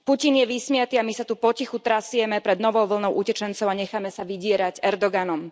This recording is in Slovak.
Putin je vysmiaty a my sa tu potichu trasieme pred novou vlnou utečencov a necháme sa vydierať Erdoganom.